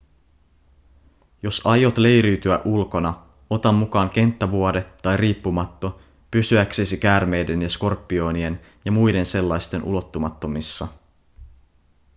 jos aiot leiriytyä ulkona ota mukaan kenttävuode tai riippumatto pysyäksesi käärmeiden ja skorpionien ja muiden sellaisten ulottumattomissa